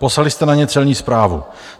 Poslali jste na ně Celní správu.